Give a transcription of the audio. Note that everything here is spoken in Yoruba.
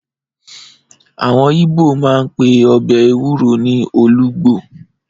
Àwọn ibo máa ń pe ọbẹ̀ ẹwúro ní olugbo.